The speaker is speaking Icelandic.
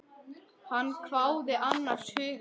Hann hváði annars hugar.